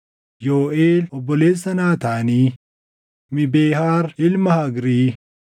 Yooʼeel obboleessa Naataanii, Mibehaar ilma Hagrii,